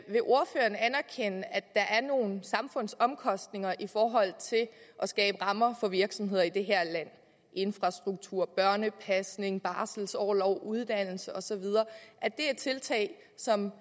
der er nogle samfundsomkostninger i forhold til at skabe rammer for virksomheder i det her land altså infrastruktur børnepasning barselsorlov uddannelse og så videre er tiltag som